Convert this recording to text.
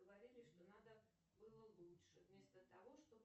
говорили что надо было лучше вместо того чтобы